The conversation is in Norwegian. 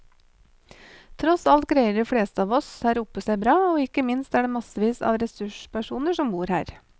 Tross alt greier de fleste av oss her oppe seg bra, og ikke minst er det massevis av ressurspersoner som bor her.